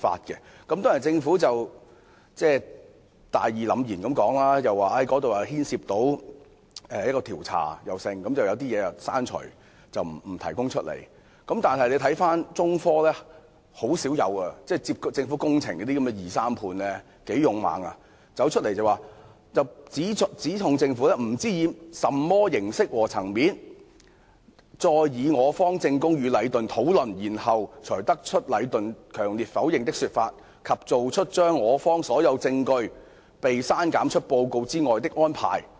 雖然政府大義凜然地表示因為牽涉某些調查，所以該報告要刪除某些內容，不能向外披露，但中科十分勇敢——承辦政府工程的二三判很少會這樣做——出面指控政府："不知以甚麼形式和層面再以我方證供與禮頓討論，然後才得出禮頓強烈否認的說法及做出將我方所有證供被刪減出報告之外的安排。